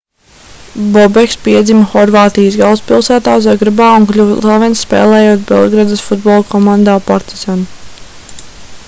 bobeks piedzima horvātijas galvaspilsētā zagrebā un kļuva slavens spēlējot belgradas futbola komandā partizan